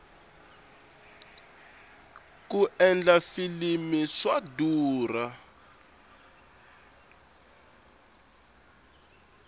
ku endla filimi swa durha